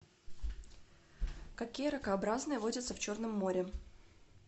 какие ракообразные водятся в черном море